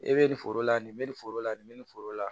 E be nin foro la nin be nin foro la nin be nin foro la